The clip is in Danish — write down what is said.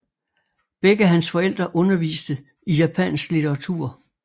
Begge hans forældre underviste i japansk litteratur